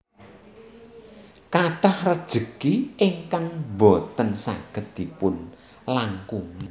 Kathah rejeki ingkang boten saged dipun langkungi